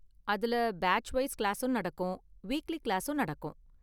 அதுல batch wise கிளாஸும் நடக்கும், வீக்லி கிளாஸும் நடக்கும்.